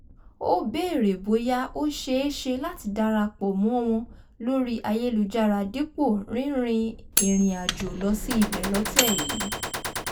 ó béèrè bóyá ó ṣeé ṣe láti darapọ̀ mọ́ wọn lórí ayélujára dípò rínrin ìrìàjò lọ sí ibẹ̀ lọ́tẹ̀ yìí